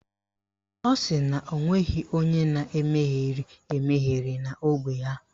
Ọ sị na o nweghị onye na-emegheri emegheri na ógbè ha